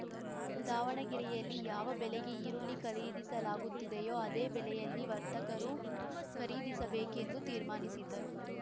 ದಾವಣಗೆರೆಯಲ್ಲಿ ಯಾವ ಬೆಲೆಗೆ ಈರುಳ್ಳಿ ಖರೀದಿಸಲಾಗುತ್ತಿದೆಯೋ ಅದೇ ಬೆಲೆಯಲ್ಲಿ ವರ್ತಕರು ಖರೀದಿಸಬೇಕೆಂದು ತೀರ್ಮಾನಿಸಿದ್ದರು